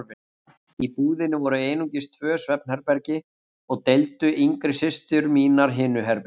Í íbúðinni voru einungis tvö svefnherbergi og deildu yngri systur mínar hinu herberginu.